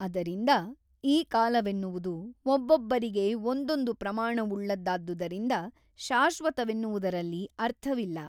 ಅದರಿಂದ ಈ ಕಾಲವೆನ್ನುವುದು ಒಬ್ಬೊಬ್ಬರಿಗೆ ಒಂದೊಂದು ಪ್ರಮಾಣವುಳ್ಳದ್ದಾದುದರಿಂದ ಶಾಶ್ವತವೆನ್ನುವುದರಲ್ಲಿ ಅರ್ಥವಿಲ್ಲ.